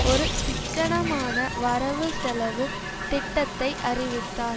ஒரு சிக்கனமான வரவுசெலவு திட்டத்தை அறிவித்தார்